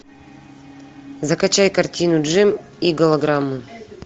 закачай картину джим и голограммы